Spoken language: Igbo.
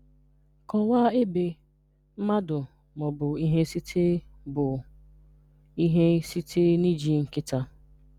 Kọwaa ebe, mmadụ, ma ọ bụ ihe site bụ ihe site n’iji nkịta.